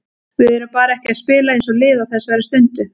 Við erum bara ekki að spila eins og lið á þessari stundu.